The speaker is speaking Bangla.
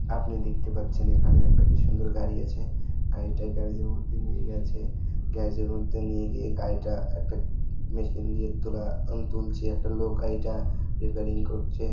আপনি দেখতে পাচ্ছেন এখানে একটা কি সুন্দর গাড়ি আছে গাড়িটা গ্যারেজ -এর মধ্যে নিয়ে গেছে গ্যারেজ -এর মধ্যে নিয়ে গিয়ে গাড়িটা একটা মেশিন দিয়ে তোলা-- তুলছে একটা লোক গাড়িটা রিপিয়ারিং করছে।